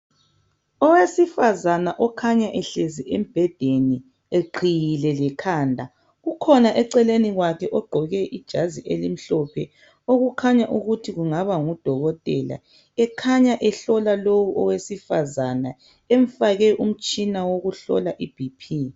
Owesifazana okhanya ehlezi embhedeni eqhiyile lekhanda, ukhona eceleni kwakhe ogqoke ijazi elimhlophe okukhanya ukuthi kungaba ngudokotela, ekhanya ehlola lowu owesifazana, emfake umtshina wokuhlola iBP.